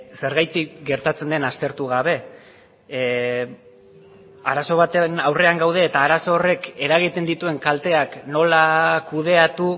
zergatik gertatzen den aztertu gabe arazo baten aurrean gaude eta arazo horrek eragiten dituen kalteak nola kudeatu